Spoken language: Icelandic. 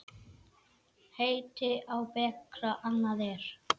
Heiti á bekra annað er.